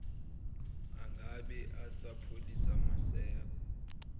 angabe esapholisa maseko